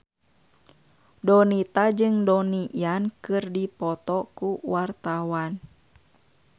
Donita jeung Donnie Yan keur dipoto ku wartawan